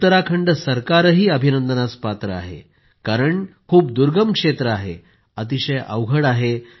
उत्तराखंड सरकारही अभिनंदनाचं पात्र आहे कारण खूप दुर्गम क्षेत्र आहे अतिशय अवघड आहे